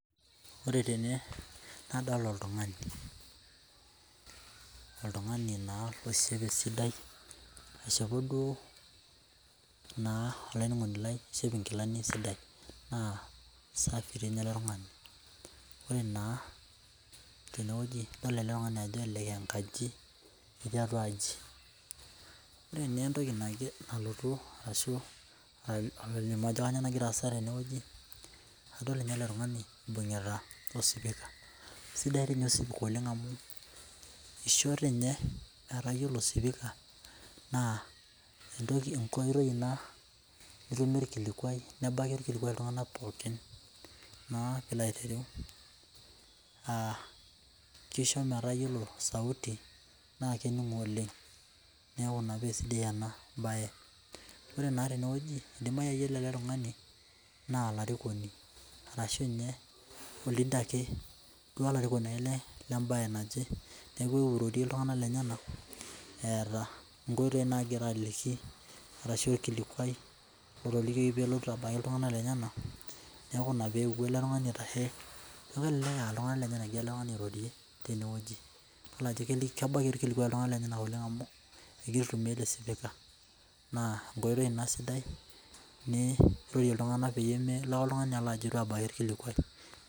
Ore tene nadol oltungani, oltungani naa oishope sidai, aishopo duo naa olainining'oni lai aishop enkilani sidai saa esafi rei ninye ale tungani, ore naa teneweji idol ale tungani ajo elelek aaenkaji etuu atua aji, ore naa entoki nalotu ashu naidim aaku egira aasa teneweji naidol ninye ale tungani eibung'ita osipika, esidai ninye osipika oleng amu eishoo ninye naa kayiolo osipika naa entoki enkoitoi ina nitumie ilkilikuai nebaki ilkilikuai iltungana pookin naa piilo aitereu, keisho metaa iyolo sauti naa kening'o oleng, neaku ina naa peesidai ena baye ,ore naa teneweji eidimai iyolo ale tungani naa ilarikoni arashu ninye holiday ake duo ilarikoni ake ale le imbaye naje, neaku eewuo airorie iltungana lenyena eeta nkoitoi naagira aliki arashu olkilikuai otiliki peotu abaki iltungana lenyena neaku ina peewuo ale tungani aitashe, neeku elelek aa ltungana lenyena eewuo airorie teneweji, idol ajo kebaki ilkilikuai iltungana lenyena oleng amu etii aitumiya esipika naa nkoitoi ina sidai nirorie iltungana peyie emolo iltungani ajo eitu aabaki ilkilikuai.